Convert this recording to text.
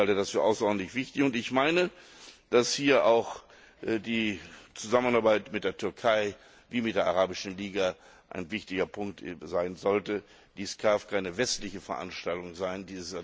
Ich halte das für außerordentlich wichtig und ich meine, dass hier auch die Zusammenarbeit mit der Türkei wie mit der Arabischen Liga ein wichtiger Punkt sein sollte. Dies darf keine westliche Veranstaltung sein.